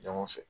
Ɲɔgɔn fɛ